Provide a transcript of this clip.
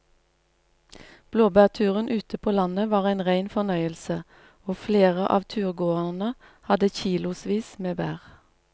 Blåbærturen ute på landet var en rein fornøyelse og flere av turgåerene hadde kilosvis med bær.